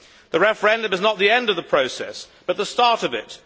The referendum is not the end of the process but the start of it.